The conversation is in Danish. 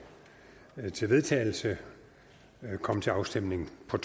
til vedtagelse komme til afstemning på